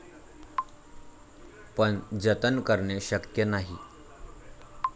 पण जतन करणे शक्य नाही.